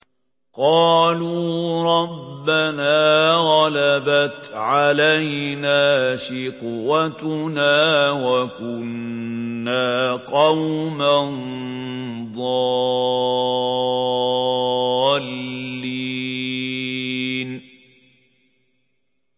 قَالُوا رَبَّنَا غَلَبَتْ عَلَيْنَا شِقْوَتُنَا وَكُنَّا قَوْمًا ضَالِّينَ